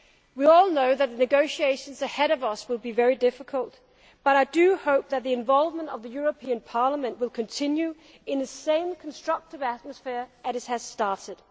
We all know that the negotiations ahead of us will be very difficult, but I hope that the involvement of the European Parliament will continue in the same constructive atmosphere as it has started.